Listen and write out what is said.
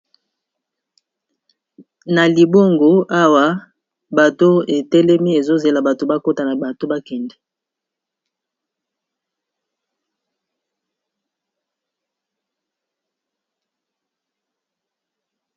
Na libongo awa, bateau e telemi ezo zela batu ba kota na bateau ba kende .